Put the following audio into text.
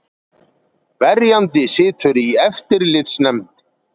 Verjandi situr í eftirlitsnefnd